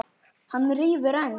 Hann rífur enn.